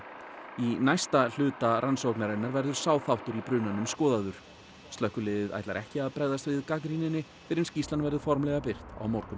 í næsta hluta rannsóknarinnar verður sá þáttur í brunanum skoðaður slökkviliðið ætlar ekki að bregðast við gagnrýninni fyrr en skýrslan verður formlega birt á morgun